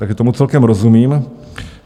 Takže tomu celkem rozumím.